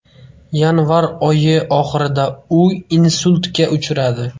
Yanvarь oyi oxirida u insultga uchradi.